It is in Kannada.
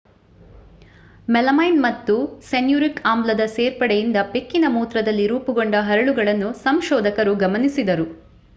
ಮೆಲಮೈನ್ ಮತ್ತು ಸ್ಯನುರಿಕ್ ಆಮ್ಲದ ಸೇರ್ಪಡೆಯಿಂದ ಬೆಕ್ಕಿನ ಮೂತ್ರದಲ್ಲಿ ರೂಪುಗೊಂಡ ಹರಳುಗಳನ್ನು ಸಂಶೋಧಕರು ಗಮನಿಸಿದರು